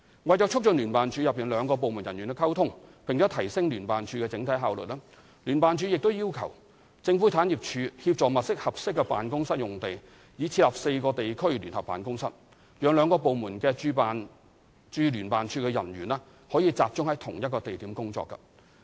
為促進聯辦處內兩個部門人員的溝通，並提升聯辦處整體效率，聯辦處已要求政府產業署協助物色合適的辦公室用地，以設立4個地區聯合辦公室，讓兩個部門的駐聯辦處人員可集中在同一地點工作。